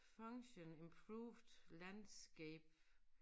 Function improved landscape